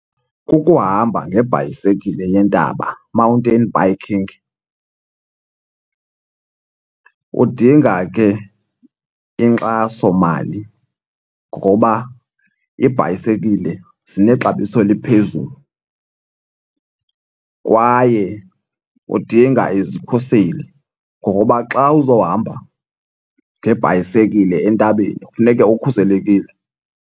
Kukuhamba ngebhayisekile yentaba, mountain biking. Kudinga ke inkxasomali ngoba iibhayisekile zinexabiso eliphezulu kwaye udinga izikhuseli ngokuba xa uzohamba ngebhayisekile entabeni kufuneke ukhuselekile.